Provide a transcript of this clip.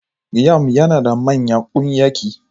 Yam yana da manyan ƙunyaki.